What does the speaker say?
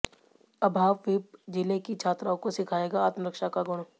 अभाविप जिले की छात्राओं को सिखाएगा आत्मरक्षा का गुण